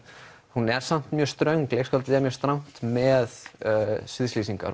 hún er samt mjög ströng leikskáldið er strangt með